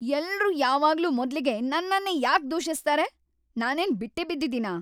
ಎಲ್ರೂ ಯಾವಾಗ್ಲೂ ಮೊದ್ಲಿಗೆ ನನ್ನನ್ನೇ ಯಾಕ್ ದೂಷಿಸ್ತಾರೆ? ನಾನೇನ್‌ ಬಿಟ್ಟಿ ಬಿದ್ದಿದೀನಾ!